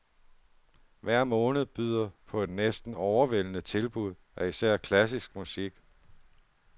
Hver måned byder på et næsten overvældende tilbud af især klassisk musik.